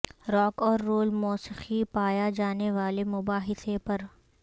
rock اور roll موسیقی پایا جانے والے مباحثے پر